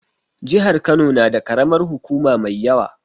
Jihar Kano na da karamar hukuma mai yawa